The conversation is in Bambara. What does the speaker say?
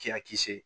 K'i hakili se